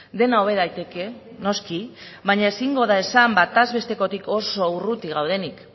dena hobe daiteke noski baina ezingo da esan bataz bestekotik oso urruti gaudenik